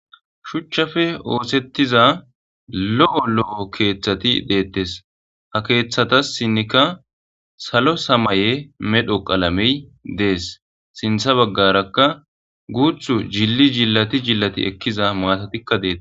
Shuuchchappe ooththetiza lo'o lo'o keeththati deettes ha keeththsinkka salo samaye medho qalamey dees sinththa baggarakka guuththu jili jilati jilati ekiza matatikka deettes